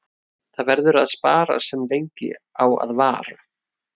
Það verður að spara sem lengi á að vara.